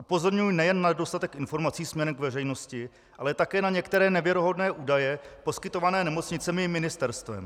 Upozorňuji nejen na nedostatek informací směrem k veřejnosti, ale také na některé nevěrohodné údaje poskytované nemocnicemi i ministerstvem.